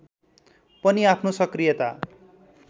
पनि आफ्नो सक्रियता